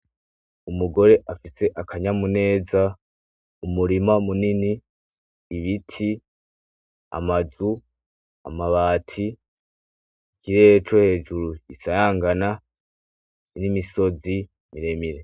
Umugore afise akanyamuneza umurima munini, ibiti, amazu, amabati, ikirere cohejuru gikayangana nimisozi miremire.